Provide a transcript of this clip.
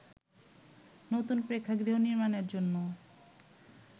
নতুন প্রেক্ষাগৃহ নির্মাণের জন্য